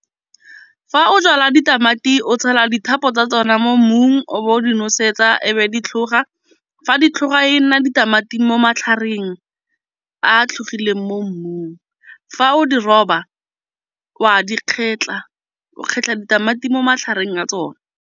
Fa o jala ditamati o tshela tsa tsona mo mmung o bo di nosetsa e be di tlhoga. Fa ditlhokga e nna ditamati mo matlhakoreng a tlhagileng mo mmung. Fa o di roba wa di kgetlha o kgetlha ditamati mo magareng ga tsona.